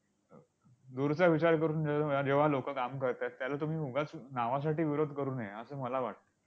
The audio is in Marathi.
दूरचा विचार करून जेव्हा लोकं काम करतात, त्याला तुम्ही उगाच नावासाठी विरोध करू नये, असं मला वाटतं.